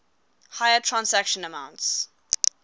higher transaction amounts